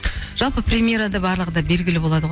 жалпы премьерада барлығы да белгілі болады ғой